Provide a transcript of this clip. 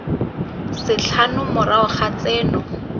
tse tlhano morago ga tseno